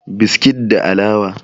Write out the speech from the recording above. biskit da alawa